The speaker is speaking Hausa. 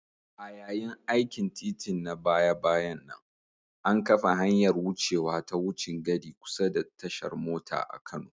A yayin aikin titin na baya-bayan nan, an kafa hanyar wucewa ta wucin gadi kusa da tashar mota a Kano.